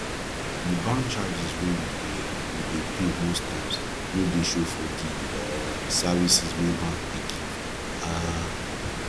di bank charges wey we dey we dey pay most times no dey show for di um services wey bank dey give um